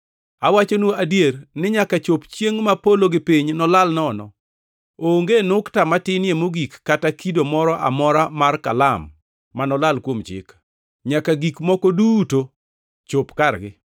Awachonu adier ni nyaka chop chiengʼ ma polo gi piny nolal nono, onge nukta matinie mogik kata kido moro amora mar kalam manolal kuom Chik, nyaka gik moko duto chop kargi.